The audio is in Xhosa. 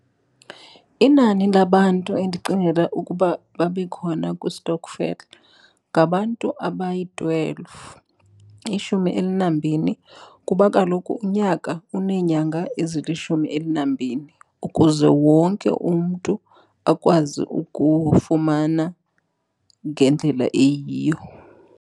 Inani labantu endicingela ukuba babe khona kwistokfela ngabantu abayi-twelve, ishumi elinambini. Kuba kaloku unyaka uneenyanga ezilishumi elinambini ukuze wonke umntu akwazi ukufumana ngendlela eyiyo.